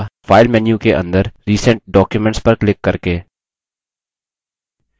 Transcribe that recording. या file menu के अंदर recent documents पर क्लिक करके